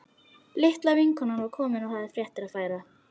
Litla vinkonan var komin og hafði fréttir að færa.